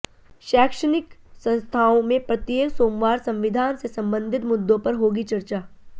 शैक्षणिक संस्थाओं में प्रत्येक सोमवार संविधान से संबंधित मुद्दो पर होगी चर्चा